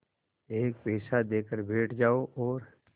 एक पैसा देकर बैठ जाओ और